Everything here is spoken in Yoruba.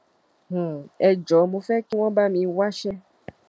um ẹ jọ̀ọ́ mo fẹ́ kí wọn bá mi wáṣẹ́